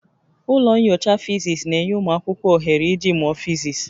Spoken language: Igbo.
Ụlọ nyocha Fisis na-enye ụmụ akwụkwọ ohere iji mụọ physics